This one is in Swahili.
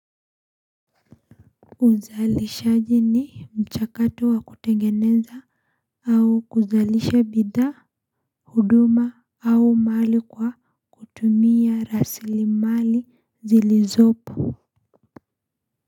Uzalishaji ni mchakato wa kutengeneza au kuzalisha bidhaa huduma au mali kwa kutumia rasilimali zilizopo.